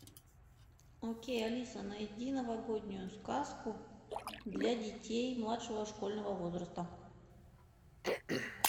окей алиса найди новогоднюю сказку для детей младшего школьного возраста